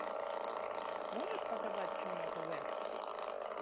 можешь показать че на тв